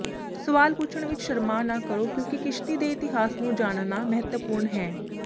ਸਵਾਲ ਪੁੱਛਣ ਵਿਚ ਸ਼ਰਮਾ ਨਾ ਕਰੋ ਕਿਉਂਕਿ ਕਿਸ਼ਤੀ ਦੇ ਇਤਿਹਾਸ ਨੂੰ ਜਾਣਨਾ ਮਹੱਤਵਪੂਰਨ ਹੈ